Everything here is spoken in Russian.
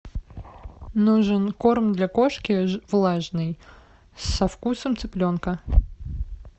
нужен корм для кошки влажный со вкусом цыпленка